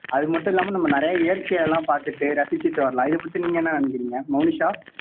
அது மட்டும் இல்லாம நம்ம நிறைய இயற்கையா எல்லாம் பாத்துட்டு ரசிச்சுட்டு வரலாம் இதைப் பத்தி நீங்க என்ன நினைக்கிறீங்க மோனிஷா